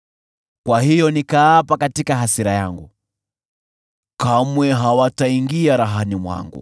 Hivyo nikatangaza kwa kiapo katika hasira yangu, “Kamwe hawataingia rahani mwangu.”